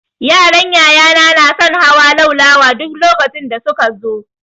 Yaran yaya na na son hawa laulawa duk lokacin da su ka zo.